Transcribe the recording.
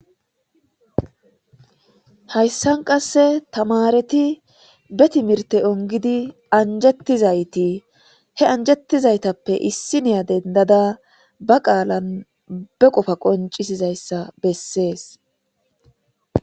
Hayssan qasse tamareti be timirte ongidi anjettizayti he anjettizaytappe issi niya dendada ba qaalan be qofa qoncisizayssa bessees.